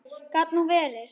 Gat nú verið!